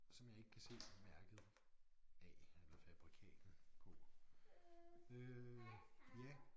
Som jeg ikke kan se mærket af eller fabrikatet på øh ja